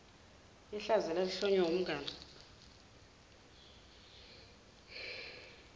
yehlazo elalihlonywa kumngani